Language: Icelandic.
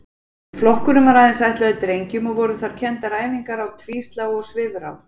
Flokkurinn var aðeins ætlaður drengjum og voru þar kenndar æfingar á tvíslá og svifrá.